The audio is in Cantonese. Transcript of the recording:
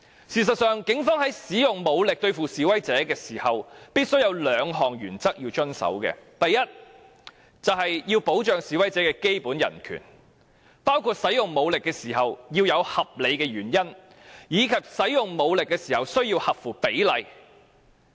事實上，警方在使用武力對付示威者時，必須遵守兩項原則：第一，要保障示威者的基本人權，包括在使用武力時須有合理原因，而所使用的武力亦須合乎比例。